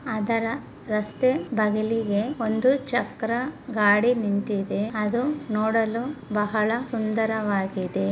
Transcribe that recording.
ಅದರ ರಸ್ತೆ ಬಗಿಲಿಗೆ ಒಂದು ಚಕ್ರ ಗಾಡಿ ನಿಂತಿದೆ ಅದು ನೋಡಲು ಬಹಳ ಸುಂದರವಾಗಿದೆ.